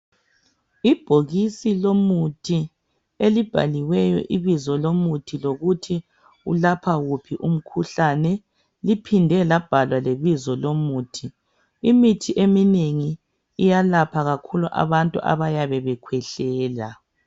Ibhokisi lomuthi elibhaliweyo ibizo lomuthi lokuthi ulapha wuphi umkhuhlane. Liphinde labhalwa lebizo lomuthi. Imithi eminengi iyalapha kakhulu abantu abayabe bekhwehlela.